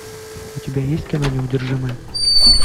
у тебя есть кино неудержимые